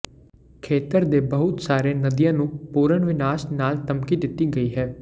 ਖੇਤਰ ਦੇ ਬਹੁਤ ਸਾਰੇ ਨਦੀਆਂ ਨੂੰ ਪੂਰਨ ਵਿਨਾਸ਼ ਨਾਲ ਧਮਕੀ ਦਿੱਤੀ ਗਈ ਹੈ